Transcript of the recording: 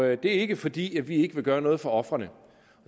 er ikke fordi vi ikke vil gøre noget for ofrene